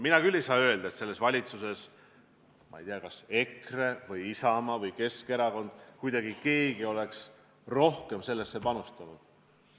Mina küll ei saa öelda, et selles valitsuses, ma ei tea, kas EKRE, Isamaa või Keskerakond kuidagi oleks rohkem sellesse panustanud.